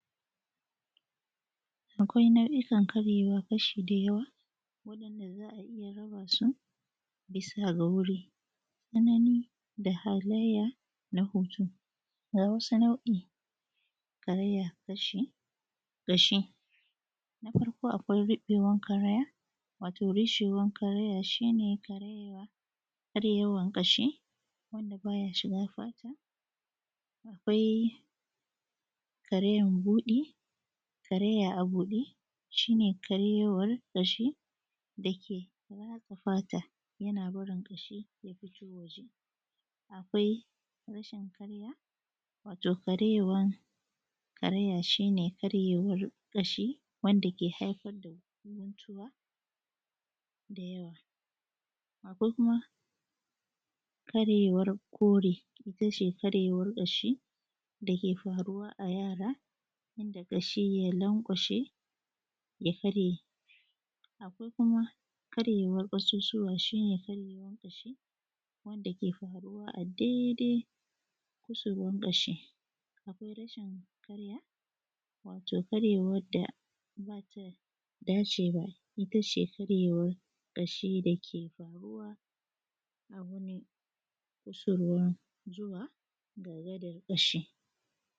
akwai nau’ikan karyewan ƙashi da yawa wanda za a iya rabasu bisa ga wurin tsanani da halayya na hutu ga wasu nau’in karaya ƙashi na farko a kwai riɓewan karaya wato rushewan karaya shine karyewa, karyewan karyewan Ƙashi wanda ba ya shiga fata akwai Karayan budi karaya a budi shine karyewar ƙashi da ke ratsa fata yana barin ƙashi ya fito waje akwai rashin karaya wato karyewan karaya shine karyewan ƙashi wanda ke haifar da mantuwa da yawa akwai kuma karyewan kore itace karyewan ƙashi da ke faruwa a yara wanda kashi ya lankwashe ya karye kuma karyewan ƙasusuwa shine karyewan ƙashi wanda ke faruwa a daidai kusurwan ƙashi akwai rashin karaya wato karyewan da ba ta dace ba itace karyewan ƙashi da ke farwa a wani kusurwa zuwa ga gadan ƙashi